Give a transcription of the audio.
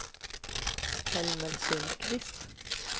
Helmer Sundqvist